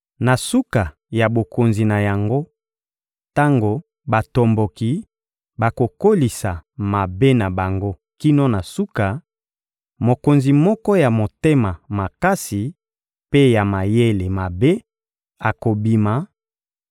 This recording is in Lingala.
Na suka ya bokonzi na yango, tango batomboki bakokolisa mabe na bango kino na suka, mokonzi moko ya motema makasi mpe ya mayele mabe akobima;